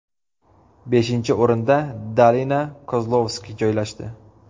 Beshinchi o‘rinda Danila Kozlovskiy joylashdi.